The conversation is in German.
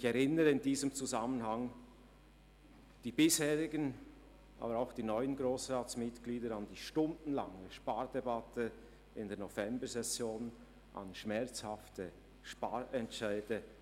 Ich erinnere die bisherigen und auch die neuen Grossratsmitglieder in diesem Zusammenhang an die stundenlangen Spardebatten in der Novembersession und an schmerzhafte Sparentscheide.